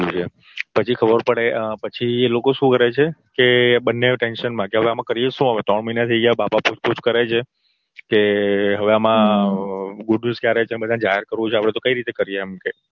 પછી ખબર પડે પછી એ લોકો શું કરે છે કે બંને tension માં કે હવે કરીએ શું હવે ત્રણ મહિના થઇ ગયા માં બાપ પૂછપૂછ કરે છે કે હવે આમાં goood news ક્યારે છે બધાને જાહેર કરવું છે આપડે તો કઈ રીતે કરીએ એમ કે